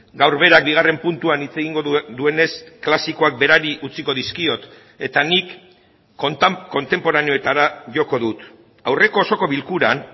gaur berak bigarren puntuan hitz egingo duenez klasikoak berari utziko dizkiot eta nik kontenporaneoetara joko dut aurreko osoko bilkuran